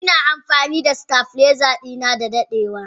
Ina amfani da stabiliser dinnan da dadewa.